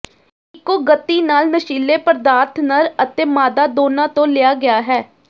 ਇੱਕੋ ਗਤੀ ਨਾਲ ਨਸ਼ੀਲੇ ਪਦਾਰਥ ਨਰ ਅਤੇ ਮਾਦਾ ਦੋਨਾਂ ਤੋਂ ਲਿਆ ਗਿਆ ਹੈ